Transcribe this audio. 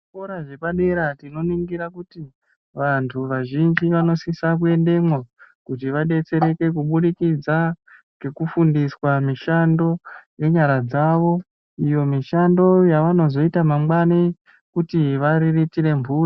Zvikora zvepadera tinoningira kuti vantu vazhinji vanosise kuendemwo kuti vadetsereke kubudikidza ngekufundiswa mishando yenyara dzawo, iyo mishando yavanozoita mangwani kuti variritire mburi.